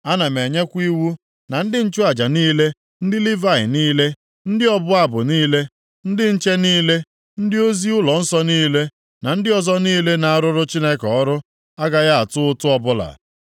Ana m enyekwa iwu na ndị nchụaja niile, ndị Livayị niile, ndị ọbụ abụ niile, ndị nche niile, ndị ozi ụlọnsọ niile, na ndị ọzọ niile na-arụrụ Chineke ọrụ, agaghị atụ ụtụ ọbụla.